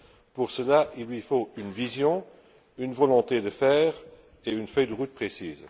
Pour cela, il lui faut une vision, une volonté de fer et une feuille de route précise.